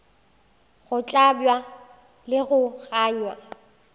go hlabja le go gangwa